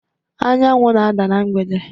Anyanwụ na-ada na mgbede